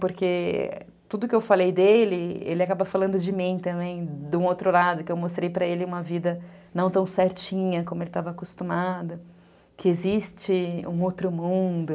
Porque tudo que eu falei dele, ele acaba falando de mim também, de um outro lado, que eu mostrei para ele uma vida não tão certinha como ele estava acostumado, que existe um outro mundo...